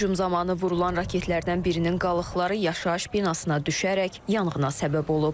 Hücum zamanı vurulan raketlərdən birinin qalıqları yaşayış binasına düşərək yanğına səbəb olub.